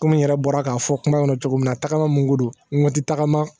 Komi n yɛrɛ bɔra k'a fɔ kuma kɔnɔ cogo min na tagama mun ko don n ti tagama